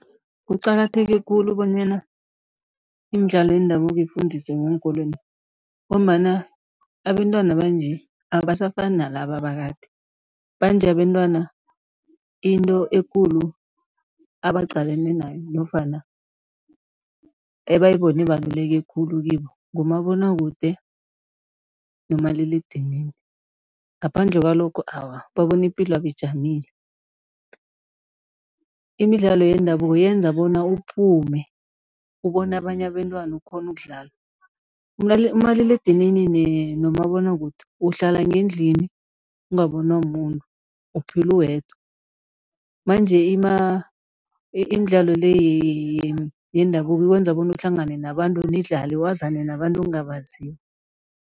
Kuqakatheke khulu bonyana imidlalo yendabuko ifundiswe ngeenkolweni ngombana abentwana banje abasafani nalaba bakade, banje abentwana into ekulu abaqalane nayo nofana ebayibone ibaluleke khulu kibo, ngumabonwakude nomaliledinini, ngaphandle kwalokho awa, babona ipilwabo ijamile. Imidlalo yendabuko yenza bona uphume, ubone abanye abentwana, ukghone ukudlala. Umaliledinini nomabonwakude, uhlala ngendlini ungabonwa mumuntu, uphila uwedwa, manje imidlalo le yendabuko ikwenza bona uhlangane nabantu, nidlale, wazane nabantu ongabaziko.